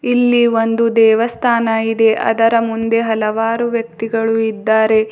ಇಲ್ಲಿ ಒಂದು ದೇವಸ್ಥಾನ ಇದೆ ಅದರ ಮುಂದೆ ಹಲವಾರು ವ್ಯಕ್ತಿಗಳು ಇದ್ದಾರೆ.